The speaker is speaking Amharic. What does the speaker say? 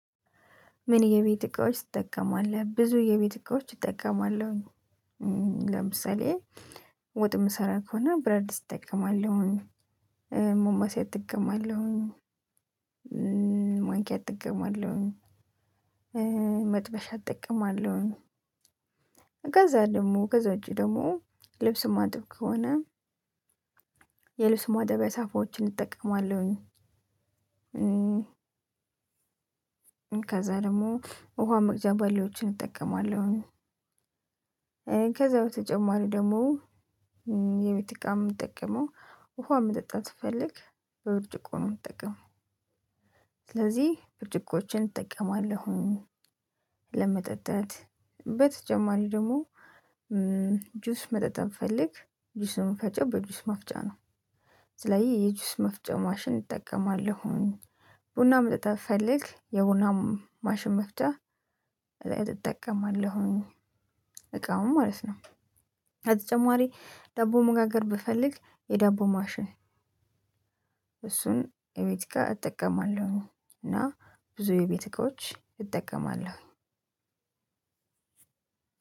ምን? የቤት እቃዎች ትጠቀማለህ ብዙ የቤት እቃዎች እጠቀማለሁኝ። ለምሳሌ ወጥ የምሰራ ከሆነ ብረት ድስት እጠቀማለሁኝ ማማሰያ እጠቀማለሁኝ ማንኪያ እጠቀማለሁኝ መጥበሻ እጠቀማለሁኝ። ከዛ ደግሞ ከዛ ውጪ ደግሞ ልብስ ማጥብ ከሆነ የልብስ ማጠቢያ ሳፋዎችን እጠቀማለሁኝ። ከዛ ደግሞ ውሃ መቅጃ ባሊዎችን እጠቀማለሁ። ከዛ በተጨማሪ ደግሞ የቤት እቃ የምጠቀመው ውሃ መጠጣት ስፈልግ በብርጭቆ ነው የምጠቀመው ስለዚህ ብርጭቆዎችን እጠቀማለሁኝ። ለመጠጣት በተጨማሪ ደግሞ ጁስ መጠጣት ብፈልግ ጁስን የምፈጨው በጁስ መፍጫ ነው። ስለዚህ የጁስ መፍጫ ማሽን እጠቀማለሁኝ። ቡና መጠጣት ብፈልግ የቡና ማሽን መፍጫ እጠቀማለሁኝ እቃውን ማለት ነው። በተጨማሪ ዳቦ መጋገር ብፈልግ የዳቦ ማሽን እሱን የቤት እቃ እጠቀማለሁኝ። እና ብዙ የቤት እቃዎች እጠቀማለሁኝ።